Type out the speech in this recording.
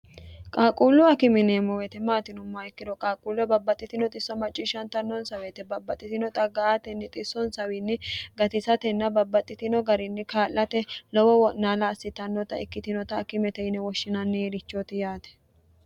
qaaquullu akime yineemmo wote maati yinummaohaikkiro qaaquullu babbaxxitino xisso macciishshantannonsa weete babbaxxitino xagga atenni xissonsawiinni gatisatenna babbaxxitino garinni kaa'late lowo wo'naala assitannota ikkitinota akimete yine woshshinannirichooti yaate